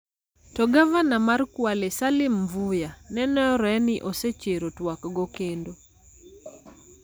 To Gavana mar Kwale, Salim Mvurya, nenore ni osechero twak go kendo.